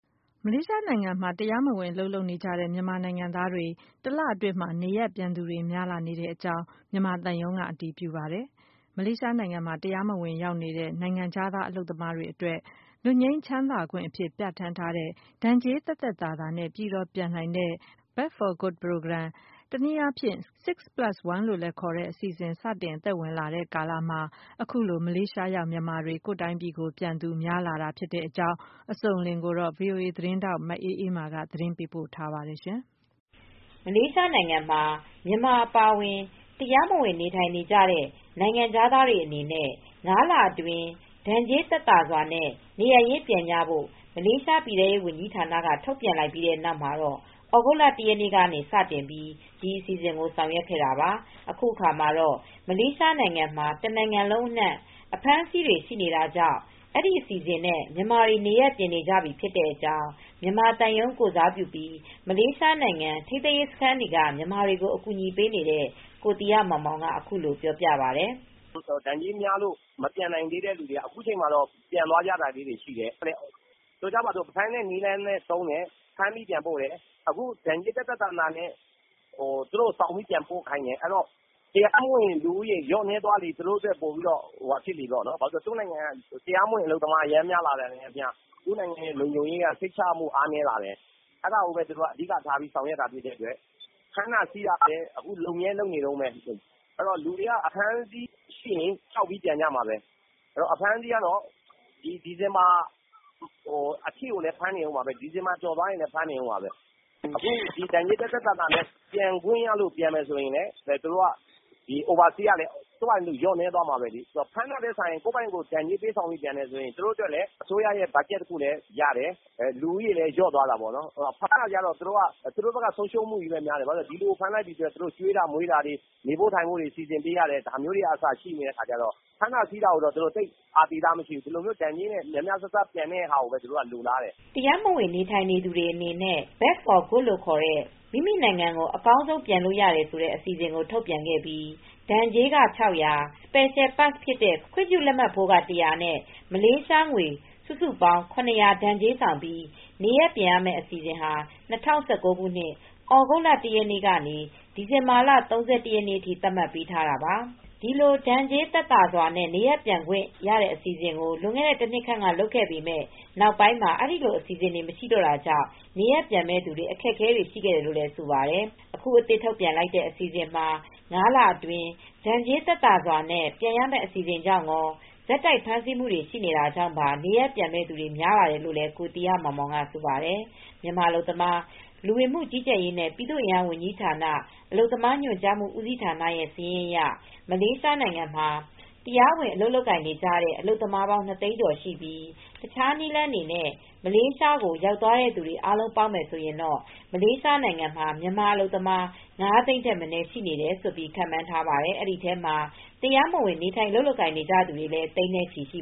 မလေးရှားနိုင်ငံမှာ တရားမဝင် အလုပ်လုပ်နေကြတဲ့ မြန်မာနိုင်ငံသားတွေ တလအတွင်းမှာ နေရပ်ပြန်သူတွေ များလာ နေကြောင်း မြန်မာသံရုံးက အတည်ပြုပါတယ်။ မလေးရှားနိုင်ငံမှာ တရားမဝင် ရောက်ရှိနေတဲ့ နိုင်ငံခြားသား အလုပ်သမားတွေ အတွက် လွတ်ငြိမ်းချမ်းသာခွင့် အဖြစ် ပြဌာန်းထားတဲ့ ဒဏ်ကြေးသက်သက်သာသာနဲ့ အပြီးသတ် ပြန်နိုင်တဲ့ " Back For Good " (B4G) Program ၊ တနည်းအားဖြင့် ( 6 + 1 ) လို့လည်း ခေါ်တဲ့ အစီအစဉ်ကို စတင်အသက်ဝင်လာတဲ့ ကာလမှာ အခုလို မလေးရှား ရောက် မြန်မာတွေ ကိုယ့်တိုင်းပြည်ကို ပြန်နေကြတာ ဖြစ်ကြောင်း အစုံအလင်ကို ဗွီအိုအေ သတင်းထောက် မအေးအေးမာက သတင်းပေးပို့ထားပါတယ်။ မလေးရှားနိုင်ငံမှာ မြန်မာအပါအဝင် တရားမဝင် နေထိုင်နေတဲ့ နိုင်ငံခြားသားတွေ အနေနဲ့ ၅ လအတွင်း ဒဏ်ကြေးသက်သာစွာနဲ့ နေရပ်ရင်းပြန်ကြဖို့ မလေးရှား ပြည်ထဲရေး ဝန်ကြီးဌာနက ထုတ်ပြန်လိုက်ပြီး နောက် သြဂုတ်လ ၁ ရက်နေ့က စတင်ပြီး ဒီအစီအစဉ်ကို ဆောင်ရွက်ခဲ့တာပါ။ အခုအခါမှာတော့ မလေးရှားမှာ တနိုင်ငံလုံး အနှံ့ှံ အဖမ်းဆီးတွေ ကတော့ ရှိနေတာကြောင့် ဒီအစီစဉ်နဲ့ မြန်မာတွေနေရပ်ပြန်နေကြပြီ ဖြစ်တဲ့အကြောင်း့မြန်မာသံရုံး ကိုယ်စားပြုပြီး မလေးရှားနိုင်ငံ ထိန်းသိမ်းရေးစခန်းတွေက မြန်မာတွေကို အကူညီပေးနေတဲ့ ကိုသီဟမောင်မောင် က ပြောပါတယ်။ “ ဒဏ်ကြေးများလို့ မပြန်နိုင်သေးတဲ့ သူတွေက အခုအချိန်မှာတော့ ပြန်သွားကြတာလေးတွေ ရှိတယ်။ ဆိုကြပါစို့ ဖမ်းတဲ့ နည်းလမ်းလည်း သုံးတယ်။ ဖမ်းပြီး ပြန်ပို့တယ်။ အခု ဒဏ်ကြေး သက်သက်သာသာနဲ့ သူတို့ ဆောင်ပြီး ပြန်ပို့ခိုင်းတယ်။ ဆိုတော့ တရားမဝင် လူဦးရေ လျော့နည်းသွားလေ သူတို့ အတွက် ပိုပြီးတော့ ဟို ဘာဖြစ်လို့လည်း ဆိုတော့ သူတို့ နိုင်ငံက တရားမဝင် အလုပ်သမား အရမ်း များလာတာနဲ့ အမျှ သူတို့ နိုင်ငံရဲ့ လုံခြုံရေးက စိတ်ချရမှု အားနည်းလာတယ်။ အဲဒါကိုဘဲ သူတို့က အဓိက ထားပြီး ဆောင်ရွက်တာ ဖြစ်တဲ့ အတွက် ဖမ်းတာ ဆီးတာလည်း အခု လုပ်မြဲ လုပ်နေတုန်းဘဲ။ အဲတော့ လူတွေက အဖမ်းအဆီး ရှိရင် ကြောက်ပြီး ပြန်ကြမှာဘဲ။ အဖမ်းအဆီးကတော့ ဒီ ဒီဇင်ဘာ အထိကိုလည်း ဖမ်းနေဦးမှာဘဲ။ ဒီဇင်ဘာ ကျော်သွားရင်လည်း ဖမ်းနေဦးမှာဘဲ။ အခု ဒဏ်ကြေး သက်သက်သာသာနဲ့ ပြန်ခွင့်ရလို့ ပြန်မယ်ဆိုရင်လည်း သူတို့က ဒီ Overstay ကလည်း သူ့ဘာသာသူ လျော့နည်းသွားမှာဘဲလေ။ ဖမ်းတာထက်စာရင် ဒဏ်ကြေးပေးပြန်တယ် ဆိုရင် သူတို့ အတွက်လည်း အစိုးရ အတွက်က ဘတ်ဂျက် တခုလည်း ရတယ်။ လူဦးရေလည်း လျော့သွားတာပေါ့နော်။ ဖမ်းတာကျတော့ သူတို့ဘက်က ဆုံးရှုံးမှုလည်း များတယ်။ ဘာဖြစ်လို့လဲ ဆိုတော့ ဒီလူကို ဖမ်းလိုက်ပြီ ဆိုရင် သူတို့ ကျွေးတာ မွေးတာတွေ နေဖို့ ထိုင်ဖို့တွေ စီစဉ်ပေးရတယ်။ ဒါမျိုးတွေကစ ရှိနေတဲ့ အခါကျတော့ ဖမ်းတာဆီးတာကိုတော့ သူတို့ သိပ် အာသီသ မရှိဘူး။ ဒီလိုမျိုး ဒဏ်ကြေးနဲ့ များများစားစား ပြန်တဲ့ ဟာကိုဘဲ သူတို့က လိုလားတယ်။ ” တရားမဝင် နေထိုင်နေသူတွေ အနေနဲ့ (Back For Good ) လို့ခေါ်တဲ့ မိခင်နိုင်ငံကို အပြီးသတ် ပြန်နိုင်တဲ့ အစီအစဉ်ကို ထုတ်ပြန်ခဲ့ပြီး ဒဏ်ကြေးက မလေးရှားငွေ Ringgit ၆၀၀ ၊ Secial Pass ခွင့်ပြုလက်မှတ်ဖိုးက Ringgit ၁၀၀ နဲ့ စုစုပေါင်း Ringgit ၇၀၀ ဒဏ်ကြေးဆောင်ပြီး နေရပ်ပြန်ရမယ့် အစီစဉ်ကို ဒီနှစ် ၂၀၁၉ ခုနှစ် သြဂုတ်လ ၁ ရက်နေ့က စတင်ခဲ့ပြီး ဒီဇင်ဘာလ ၃၁ ရက်နေ့အထိ သတ်မှတ်ပေးထားတာပါ။ ဒီလိုဒဏ်ကြေး သက်သာစွာ နေရပ်ပြန်ခွင့် အစီစဉ်ကို လွန်ခဲ့တဲ့ တနှစ်ခန့်က လုပ်ခဲ့ပေမယ့် နောက်ပိုင်းမှာ ဒီလိုအစီစဉ်တွေ မရှိတော့တာကြောင့် နေရပ်ပြန်မဲ့ သူ တွေ အခက်အခဲတွေ ရှိခဲ့တယ်လို့ ဆိုပါတယ်။ အခု အသစ်ထုတ်ပြန်လိုက်တဲ့ အစီစဉ်မှာ ၅ လအတွင်း ဒဏ်ကြေးသက်သာစွာနဲ့ ပြန်ရမဲ့ အစီစဉ်ကြောင့်ရော ဆက်တိုက် ဖမ်းဆီးနေတာ ကြောင့်ပါ နေရပ်ပြန်မဲ့သူတွေ များလာတယ်လို့လည်း ကိုသီဟမောင်မောင်က ဆိုပါတယ်။ မြန်မာ အလုပ်သမား၊ လူဝင်မူကြီးကြပ်ရေးနဲ့ ပြည်သူ့အင်အား ဝန်ကြီးဌာန လက်အောက်ရှိ အလုပ်သမားညွန်ကြားမှု ဦးစီးဌာနရဲ့စာရင်းအရ မလေးရှားမှာ တရားဝင် အလုပ်လုပ်နေကြတဲ့ မြန်မာ အလုပ်သမားပေါင်း ၂ သိန်းကျော်ရှိပါတယ်။ မလေးရှားကို တခြားနည်းလမ်းတွေနဲ့ တရားမဝင် ရောက်နေသူတွေနဲ့ အားလုံးပေါင်းရင် မလေးရှားမှာ မြန်မာ အလုပ်သမား ၅ သိန်း ထက်မနည်း ရှိတယ်လို့ ခန့်မှန်းထားတဲ့အတွက် တရားမဝင် မြန်မာအလုပ်သမားတွေဟာ သိန်းနဲ့ချီပြီး ရှိ